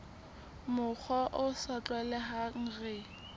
mokgwa o sa tlwaelehang re